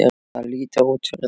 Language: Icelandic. Það lítur út fyrir það